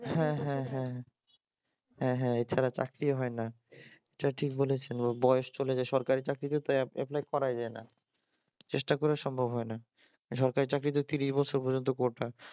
হ্যাঁ হ্যাঁ হ্যাঁ এছাড়া চাকরি হয় না এটা ঠিক বলেছেন বয়স চলে যায় সরকারি চাকরিতেও এপ্লাই করা যায়না চেষ্টা করে সম্ভব হয়না সরকারি চাকরি তো তিরিশ বছর পর্যন্ত কোটা